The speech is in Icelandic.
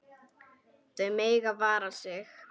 Þau mega vara sig.